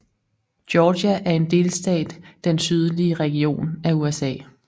Georgia er en delstat den sydlige region af USA